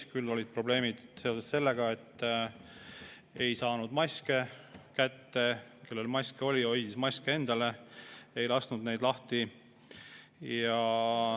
Küll olid probleemid seoses sellega, et ei saanud maske kätte, kellel maske oli, hoidis maske endale, ei lasknud neid lahti.